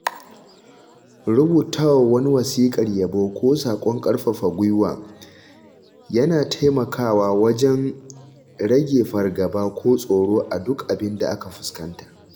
Rubutawa wani wasiƙar yabo ko sakon ƙarfafa gwuiwa yana taimakawa wajen rage fargaba ko tsoro a duk abinda aka fuskanta.